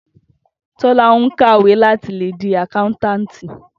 Tó̩lá ń kàwé láti lè di àkáńtáàǹtì